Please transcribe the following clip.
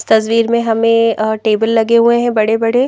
तस्वीर में हमें अ टेबल लगे हुए हैं बड़े-बड़े।